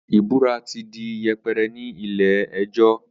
ìbúra ti di yẹpẹrẹ ní ilé ẹjọ́.